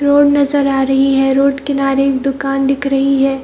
Road नजर आ रही है रोड किनारे एक दुकान दिख रही है ।